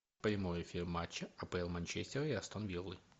прямой эфир матча апл манчестер и астон виллы